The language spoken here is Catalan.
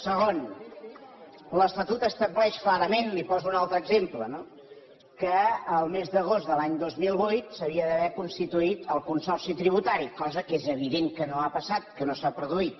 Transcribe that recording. segon l’estatut estableix clarament li’n poso un altre exemple no que el mes d’agost de l’any dos mil vuit s’havia d’haver constituït el consorci tributari cosa que és evident que no ha passat que no s’ha produït